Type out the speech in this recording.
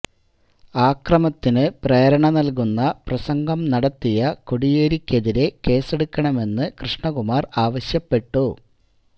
അക്രമത്തിന് പ്രേരണ നല്കുന്ന പ്രസംഗം നടത്തിയ കോടിയേരിക്കെതിരെ കേസെടുക്കണമെന്ന് കൃഷ്ണകുമാര് ആവശ്യപ്പെട്ടു